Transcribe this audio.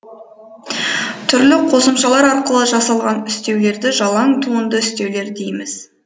түрлі қосымшалар арқылы жасалған үстеулерді жалаң туынды үстеулер дейміз